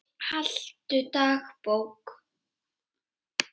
Haltu dagbók.